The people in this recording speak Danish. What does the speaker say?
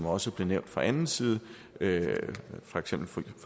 også blev nævnt fra anden side for eksempel